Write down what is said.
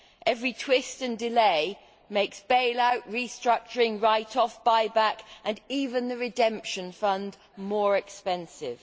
Every twist and delay makes bail out, restructuring, write offs, buy back and even the redemption fund more expensive.